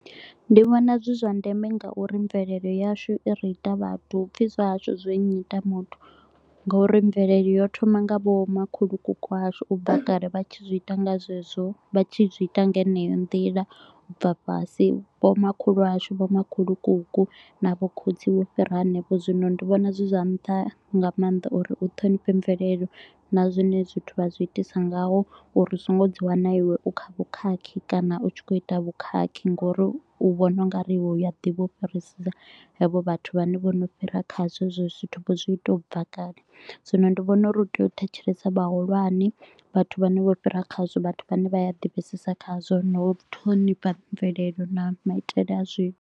Ndi vhona zwi zwa ndeme nga uri mvelelo yashu i ri ita vhathu, hupfi zwa hashu zwi nnyita muthu. Nga uri mvelele yo thoma nga vho makhulukuku washu, u bva kale vha tshi zwi ita nga zwezwo, vha tshi zwi ita nga heneyo nḓila u bva fhasi. Vho makhulu washu, vho makhulukuku na vho khotsi vho fhira hanefho, zwino ndi vhona zwi zwa nṱha nga maanḓa uri u thonifhe mvelelo na zwine zwithu vha zwi itisa ngaho uri so ngo dzi wana iwe u kha vhukhakhi kana u tshi kho u ita vhukhakhi., ngauri u vhona u nga ri iwe u a ḓivha u fhirisisa havho vhathu vhane vho no fhira khazwo hezwo zwithu vho zwi ita u bva kale. Zwino ndi vhona uri u tea u thetshelesa vhahulwane, vhathu vhane vho fhira khazwo, vhathu vhane vha ya divhesesa khazwo na u ṱhonifha mvelelo na maitele a zwithu.